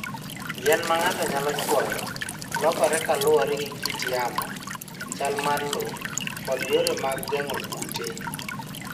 Yien ma ng'ato nyalo chwoyo lokore kaluwore gi kit yamo, chal mar lowo, kod yore mag geng'o kute.